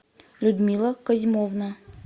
людмила козьмовна